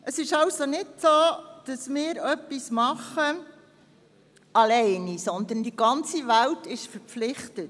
Es ist somit nicht so, dass wir alleine etwas tun, sondern die ganze Welt ist dazu verpflichtet.